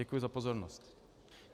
Děkuji za pozornost.